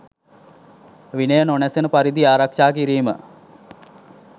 විනය නොනැසෙන පරිදි ආරක්ෂා කිරීම